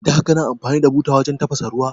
Da kana amfani da buta wajan tafasa ruwa?